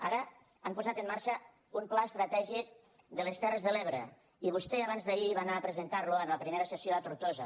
ara han posat en marxa un pla estratègic de les terres de l’ebre i vostè abans d’ahir va anar a presentar lo en la primera sessió a tortosa